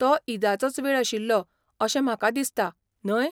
तो ईदाचोच वेळ आशिल्लो अशें म्हाका दिसता? न्हय?